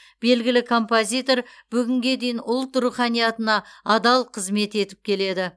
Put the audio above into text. белгілі композитор бүгінге дейін ұлт руханиятына адал қызмет етіп келеді